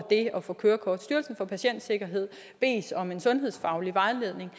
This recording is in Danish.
det at få kørekort styrelsen for patientsikkerhed bedes om en sundhedsfaglig vejledning